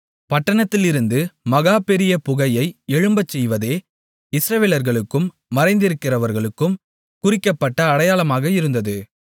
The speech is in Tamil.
பட்டணத்திலிருந்து மகா பெரிய புகையை எழும்பச்செய்வதே இஸ்ரவேலர்களுக்கும் மறைந்திருக்கிறவர்களுக்கும் குறிக்கப்பட்ட அடையாளமாக இருந்தது